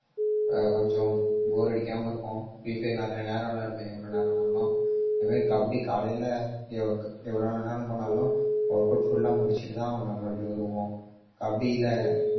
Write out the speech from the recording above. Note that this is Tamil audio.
ஆஹ் கொஞ்சம் bore அடிக்காம இருக்கும். free fire நிறைய நேரம் விளையாடுவேன் எவ்வளவு நேரம்னாலும். அதே மாதிரி கபடி காலையில எவ்~ எவ்வளவு நேரம் போனாலும் workout full ஆ முடிச்சிட்டுதான் மறுபடியும் வருவோம் கபடியில